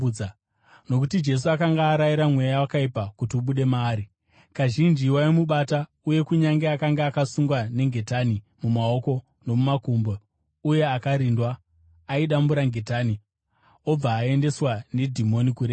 Nokuti Jesu akanga arayira mweya wakaipa kuti ubude maari. Kazhinji waimubata, uye kunyange akange akasungwa nengetani mumaoko nomumakumbo uye akarindwa, aidambura ngetani obva aendeswa nedhimoni kurenje.